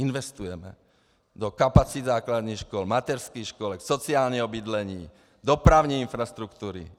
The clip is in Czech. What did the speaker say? Investujeme do kapacit základních škol, mateřských škol, sociálního bydlení, dopravní infrastruktury.